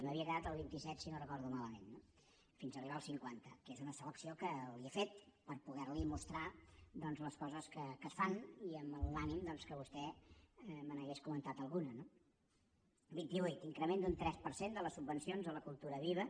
m’havia quedat a la vint i set si no ho recordo malament fins arribar al cinquanta que és una sola acció que li he fet per poder li mostrar les coses que es fan i amb l’ànim que vostè me n’hagués comentat alguna no vint i vuit increment d’un tres per cent de les subvencions a la cultura viva